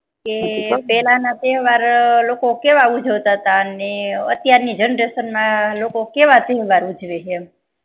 કે પેહલા ના તહેવાર અ લોકો કેવા ઉજવતા ને અત્યાર ની generation ના લોકો કેવા તહેવાર ઉજવે છે એમ